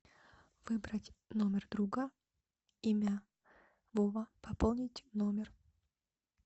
выбрать номер друга имя вова пополнить номер